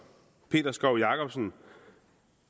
peter skov jakobsen